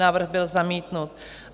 Návrh byl zamítnut.